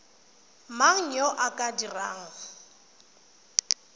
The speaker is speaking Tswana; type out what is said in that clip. mang yo o ka dirang